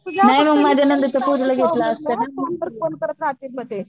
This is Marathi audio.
तुझं कोणतर कोणतर म ते